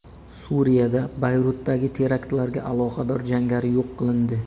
Suriyada Bayrutdagi teraktlarga aloqador jangari yo‘q qilindi.